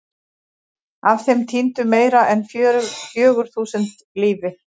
Af þeim týndu meira en fjögur þúsund lífi.